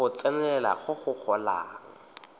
go tsenelela go go golang